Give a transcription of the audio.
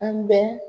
An bɛ